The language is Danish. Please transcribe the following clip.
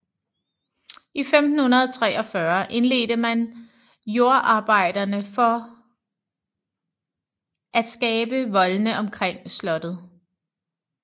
I 1543 indledte man jordarbejderne for at skabe voldene omkring slottet